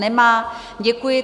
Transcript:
Nemá, děkuji.